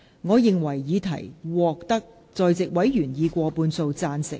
我認為議題獲得在席委員以過半數贊成。